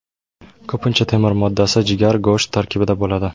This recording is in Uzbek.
Ko‘pincha temir moddasi jigar, go‘sht tarkibida bo‘ladi.